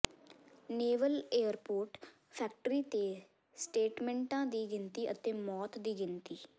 naval airport factory ਤੇ ਸਟੇਟਮੈਂਟਾਂ ਦੀ ਗਿਣਤੀ ਅਤੇ ਮੌਤ ਦੀ ਗਿਣਤੀ